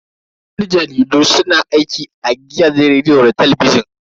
Yan jaridu su na aiki a gidajen rediyo da talabijin.